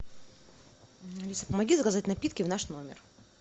алиса помоги заказать напитки в наш номер